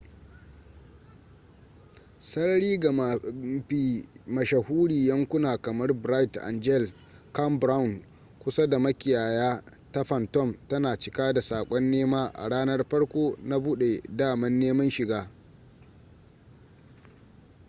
sarari ga mafi mashahuri yankuna kamar bright angel campground kusa da makiyaya ta phantom tana cika da sakon nema a ranan farko na bude daman neman shiga